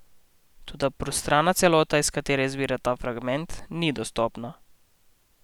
Toda prostrana celota, iz katere izvira ta fragment, ni dostopna.